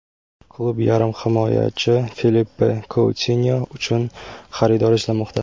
Klub yarim himoyachi Filippe Koutinyo uchun xaridor izlamoqda.